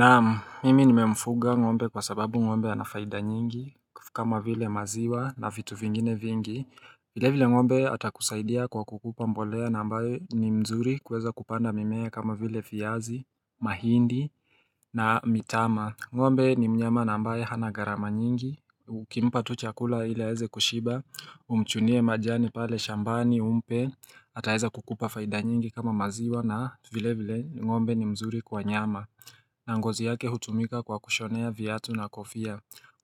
Naam, mimi nimefuga ng'ombe kwa sababu ng'ombe ana faida nyingi kama vile maziwa na vitu vingine vingi vile vile ng'ombe atakusaidia kwa kukupa mbolea na ambayo ni nzuri kuweza kupanda mimea kama vile viazi, mahindi na mtama ng'ombe ni mnyama na ambaye hana gharama nyingi Ukimpa tu chakula ili aweze kushiba umchunie majani pale shambani umpe ataweza kukupa faida nyingi kama maziwa na vile vile ng'ombe ni mzuri kwa nyama na ngozi yake hutumika kwa kushonea viatu na kofia.